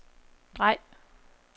drej